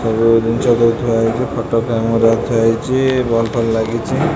ସବୁ ଦିନ୍ଷ ସବୁ ଥୁଆ ହେଇଚି ଖଟ ଫ୍ରେମ୍ ଗୁରା ଥୁଆ ହେଇଚି ବଲ୍ ଫଲ୍ ଲାଗିଚି।